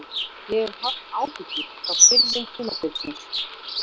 Ég hef haft áhyggjur frá byrjun tímabilsins.